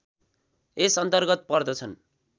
यसअन्तर्गत पर्दछन्